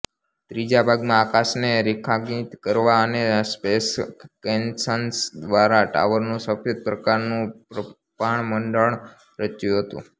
ત્રીજા ભાગમાં આકાશને રેખાંકિત કરતાં અને સ્પેસ કેનન્સ્ દ્વારા ટાવરનું સફેદ પ્રકાશનું પ્રભામંડળ રચ્યું હતું